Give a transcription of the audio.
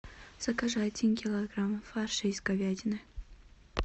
закажи один килограмм фарша из говядины